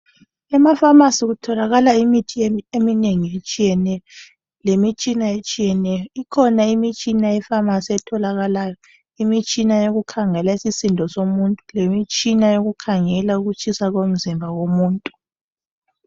Ema phamarcy kutholakala imithi eminengi etshiyeneyo lemitshina etshiyeneyo ikhona mitshina e pharmacy etholakalayo imitshina yokukhangela isisindo somuntu lemitshina yokukhangela ukutshisa komzimba umzimba komuntu.